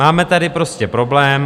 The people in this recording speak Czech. Máme tady prostě problém.